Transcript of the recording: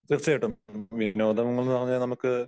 തീർച്ചയായിട്ടും, വിനോദങ്ങൾന്ന് പറഞ്ഞാ നമുക്ക്